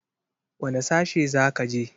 Wane sashe za ka je?